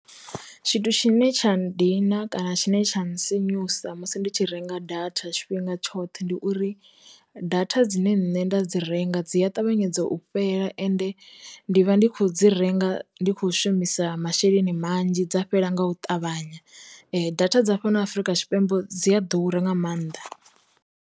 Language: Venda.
Tshithu tshine tsha ndina kana tshine tsha nga sinyusa musi ndi tshi renga data tshi fhinga tshoṱhe ndi uri, data dzine nṋe nda dzi renga dzi a ṱavhanyedza u fhela ende ndi vha ndi khou dzi renga ndi kho shumisa masheleni manzhi dza fhela nga u ṱavhanya, data dza fhano Afrika Tshipembe dzi a ḓura nga maanḓa.